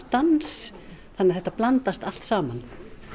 dans þannig að þetta blandast allt saman